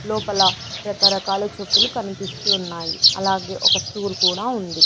లోపల రకరకాల చెప్పులు కన్పిస్తూ ఉన్నాయి అలాగే ఒక స్టూల్ కూడా ఉంది.